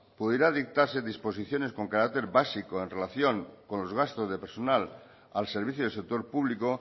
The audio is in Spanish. pudiera dictarse disposiciones con carácter básico en relación con los gastos de personal al servicio del sector público